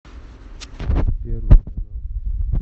первый канал